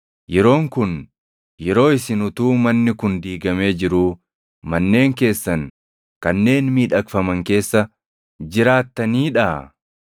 “Yeroon kun yeroo isin utuu manni kun diigamee jiruu manneen keessan kanneen miidhagfaman keessa jiraattaniidhaa?”